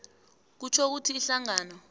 kutjho ukuthi ihlangano